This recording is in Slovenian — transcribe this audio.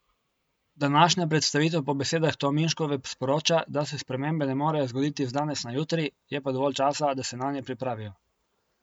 Današnja predstavitev po besedah Tominškove sporoča, da se spremembe ne morejo zgoditi z danes na jutri, je pa dovolj časa, da se nanje pripravijo.